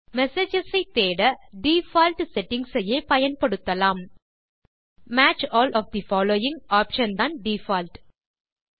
messages ஐ தேட default settings ஐயே பயன்படுத்தலாம் match all of the following option தான் டிஃபால்ட்